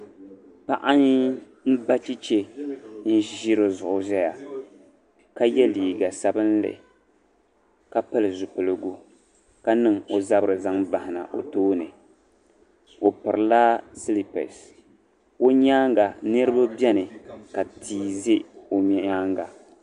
Ni aayi mba chɛchɛ ʒiri di zuɣu ʒia ka ye liiga sabinli ka pili zupiligu ka niŋ o zabiri zaŋ bahina o tooni o pirila silipers o nyaaŋa niriba beni ka tia ʒi o nyaaŋa